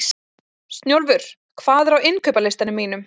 Snjólfur, hvað er á innkaupalistanum mínum?